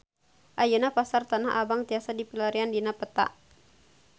Ayeuna Pasar Tanah Abang tiasa dipilarian dina peta